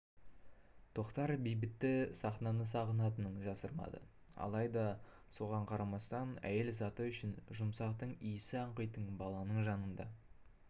тоқтардың бейбіті сахнаны сағынатынын жасырмады алайда соған қарамастан әйел заты үшін жұмақтың исі аңқитын баланың жанында